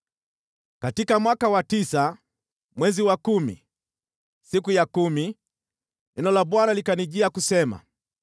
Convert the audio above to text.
Katika mwaka wa tisa, mwezi wa kumi, siku ya kumi, neno la Bwana likanijia kusema: